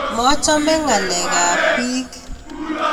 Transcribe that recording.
Machame ngalekab biich